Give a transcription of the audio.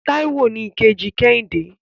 Táíwò ni ìkejì kẹ́hìndé.